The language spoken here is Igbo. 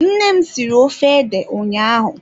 Nne m siri ofe ede ụnyaahụ.